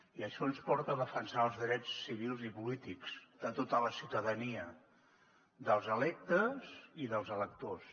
i això ens porta a defensar els drets civils i polítics de tota la ciutadania dels electes i dels electors